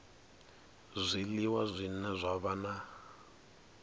zwiliwa zwine zwa vha na